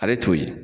Ale t'o ye